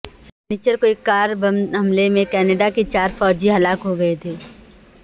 سنیچر کو ایک کار بم حملے میں کینیڈا کے چار فوجی ہلاک ہو گئے تھے